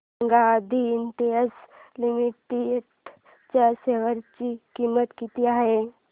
सांगा Aadi industries limited च्या share ची किंमत किती आहे